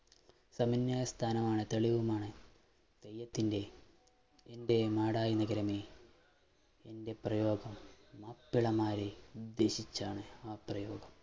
ആണ് തെയ്യത്തിൻറെ എൻറെ നാടായ നഗരമേ എൻറെ പ്രയോഗം മാപ്പിള മാരെ ഉദ്ദേശിച്ചാണ് ആ പ്രയോഗം